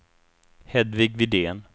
Hedvig Widén